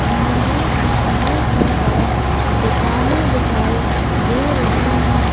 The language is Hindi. यहां सामने की तरफ दुकाने दिखाई दे रही हैं।